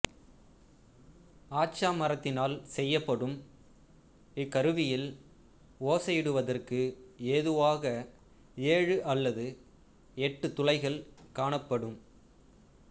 ஆச்சா மரத்தினால் செய்யப்படும் இக்கருவியில் ஓசையிடுவதற்கு ஏதுவாக ஏழு அல்லது எட்டு துளைகள் காணப்படும்